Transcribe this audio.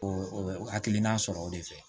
O o hakilina sɔrɔ o de fɛ